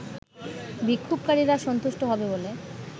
বিক্ষোভকারীরা সন্তুষ্ট হবে বলে